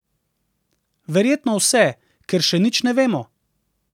Verjetno vse, ker še nič ne vemo ...